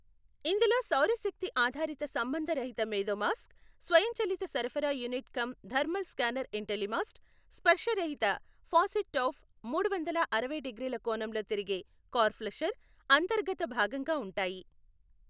ఇందులో సౌరశక్తి ఆధారిత సంబంధరహిత మేధోమాస్క్, స్వయంచలిత సరఫరా యూనిట్ కమ్ థర్మల్ స్కానర్ ఇంటెలిమాస్ట్, స్పర్శరహిత ఫాసెట్ టౌఫ్, మూడువందల అరవై డిగ్రీల కోణంలో తిరిగే కార్ ఫ్లషర్ అంతర్గత భాగంగా ఉంటాయి.